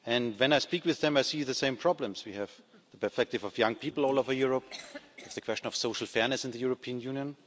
When I speak with them, I see the same problems. We have the perspective of young people all over Europe and the question of social fairness in the European Union.